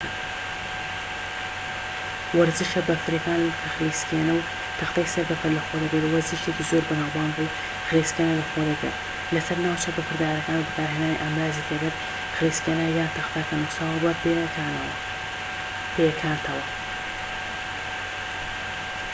وەرزشە بەفریەکان کە خلیسکێنە و تەختەی سەربەفر لەخۆ دەگرێت وەرزشێکی زۆر بەناوبانگە و خلیسکێنە لەخۆ دەگرێت لەسەر ناوچە بەفردارەکان بە بەکارهێنانی ئامڕازی تایبەتی خلیسکێنە یان تەختە کە نوساوە بە پێیەکانتەوە